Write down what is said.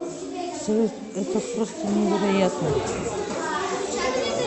салют это просто невероятно